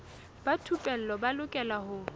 ba thupelo ba lokela ho